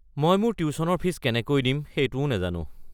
মই মোৰ টিউশ্যনৰ ফীজ কেনেকৈ দিম সেইটোও নাজানো।